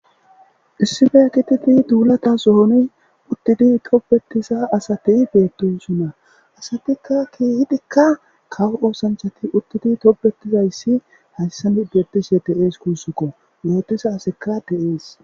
Issife kititi duulata zooni uttidi tobetisa asati beettosunna asatikka keehidikka kawo oosanchati uttidi tobetizayssi hayssan nibetishe de'ees kuussukko gootisa asikka de'ees